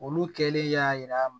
Olu kɛlen y'a yira